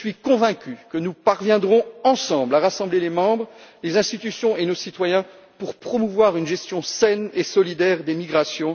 Je suis convaincu que nous parviendrons ensemble à rassembler les États membres, les institutions et nos citoyens, pour promouvoir une gestion saine et solidaire des migrations.